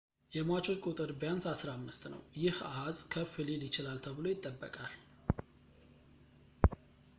የሟቾች ቁጥር ቢያንስ 15 ነው ፣ ይህ አኃዝ ከፍ ሊል ይችላል ተብሎ ይጠበቃል